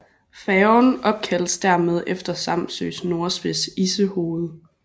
Færgen opkaldes dermed efter Samsøs nordspids Issehoved